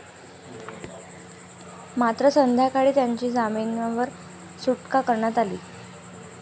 मात्र, संध्याकाळी त्याची जामिनावर सुटका करण्यात आली.